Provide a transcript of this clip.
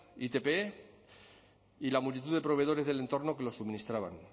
itp y la multitud de proveedores del entorno que los suministraban